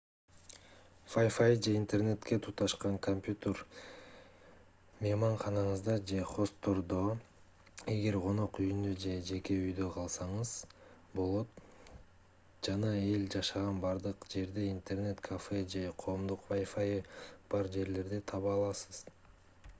wifi же интернетке туташкан компьютер мейманканаңызда же хосттордо эгер конок үйүндө же жеке үйдө калсаңыз болот жана эл жашаган бардык жерде интернет-кафе же коомдук wifi'ы бар жерлерди таба аласыз